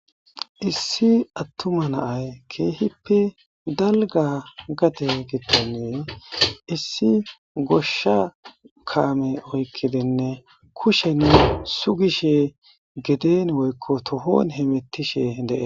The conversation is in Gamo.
Issi attuma naay keehippe dalga gate gittannee issi goshsha kaame oykkidenne kushenne sugishe geden woykko tohon hemettishe dee.